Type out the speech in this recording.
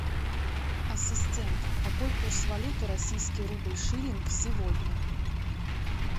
ассистент какой курс валюты российский рубль шиллинг сегодня